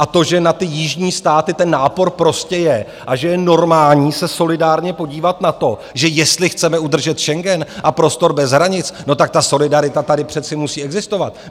A to, že na ty jižní státy ten nápor prostě je a že je normální se solidárně podívat na to, že jestli chceme udržet Schengen a prostor bez hranic, no tak ta solidarita tady přece musí existovat.